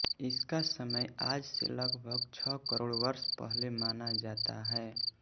इसका समय आज से लगभग छह करोड़ वर्ष पहले माना जाता है